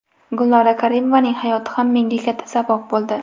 Gulnora Karimovaning hayoti ham menga katta saboq bo‘ldi.